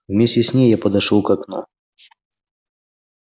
вместе с ней я подошёл к окну